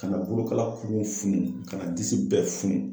Ka na bolokala kuru funu ka na disi bɛɛ funu.